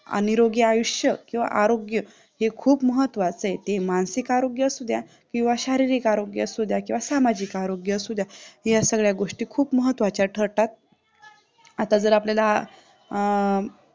आणि निरोगी आयुष्य किंवा आरोग्य खूप महत्त्वाचा आहे ते मानसिक आरोग्य असू द्या किंवा शारीरिक आरोग्य असू द्या किंवा सामाजिक आरोग्य असू द्या या सगळ्या गोष्टी खूप महत्त्वाच्या ठरतात आता जर आपल्याला अं